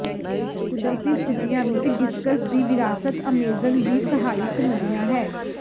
ਕੁਦਰਤੀ ਸਥਿਤੀਆਂ ਵਿੱਚ ਡਿਸਕਸ ਦੀ ਵਿਰਾਸਤ ਅਮੇਜ਼ਨ ਦੀ ਸਹਾਇਕ ਨਦੀਆਂ ਹੈ